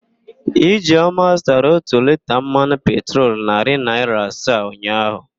Ijeọma zụtara ótù liita mmanụ petrolu narị naịra asaa ụnyaahụ.